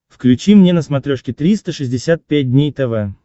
включи мне на смотрешке триста шестьдесят пять дней тв